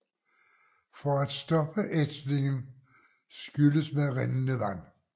For at stoppe ætsningen skylles med rindende vand